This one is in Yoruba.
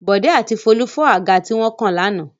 Bọ̀dé àti Folú fọ́ àga tí wọ́n kàn lánàá.